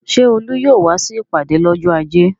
Ṣé Olú yóò wá sí ìpàdé lọ́jọ́ ajé?